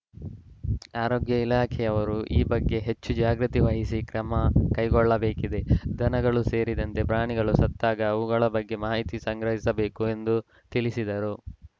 ಆರೋಗ್ಯ ಇಲಾಖೆಯವರು ಈ ಬಗ್ಗೆ ಹೆಚ್ಚು ಜಾಗೃತಿ ವಹಿಸಿ ಕ್ರಮ ಕೈಗೊಳ್ಳಬೇಕಿದೆ ದನಗಳು ಸೇರಿದಂತೆ ಪ್ರಾಣಿಗಳು ಸತ್ತಾಗ ಅವುಗಳ ಬಗ್ಗೆ ಮಾಹಿತಿ ಸಂಗ್ರಹಿಸಬೇಕು ಎಂದು ತಿಳಿಸಿದರು